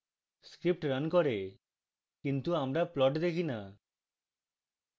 script runs করে কিন্তু আমরা plot দেখি the